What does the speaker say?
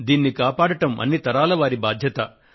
దీనిని కాపాడడం అన్ని తరాల వారి బాధ్యత